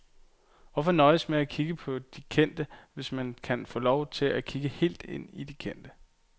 Hvorfor nøjes med at kigge på de kendte, hvis man kan få lov til at kigge helt ind i de kendte?